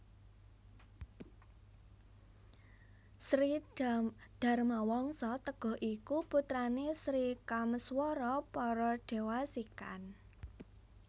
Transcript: Sri Dharmawangsa Teguh iku putrané Sri Kameswara Paradewasikan